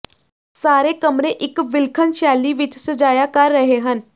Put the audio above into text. ਸਾਰੇ ਕਮਰੇ ਇੱਕ ਵਿਲੱਖਣ ਸ਼ੈਲੀ ਵਿੱਚ ਸਜਾਇਆ ਕਰ ਰਹੇ ਹਨ